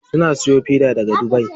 Suna siyo fida daga dubai.